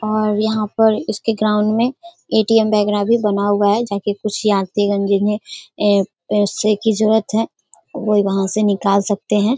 और यहाँ पर इसके ग्राउंड में ए.टी.एम. वगेरा भी बना हुआ है जहां की कुछ यात्रीगण जिन्हें अम पैसे की जरूरत है वो वहाँ से निकाल सकते हैं।